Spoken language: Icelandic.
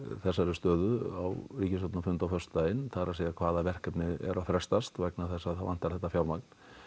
þessari stöðu á ríkisstjórnarfundi á föstudaginn það er hvaða verkefni eru að frestast vegna þess að það vantar þetta fjármagn